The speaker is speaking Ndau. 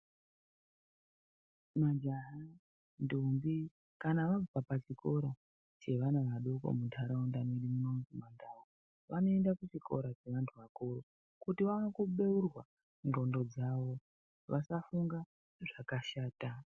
Majaha, ndombi kana vabva kuchikora chevana vadoodori munharaunda medu vanoenda kuchikora chevantu vakuru kuti vaone kubeurwa hlondo dzavo vasafunga zvakashata.